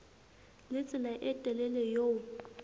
le tsela e telele eo